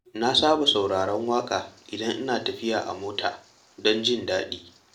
Na saba sauraron waƙa idan ina tafiya a mota don jin daɗi.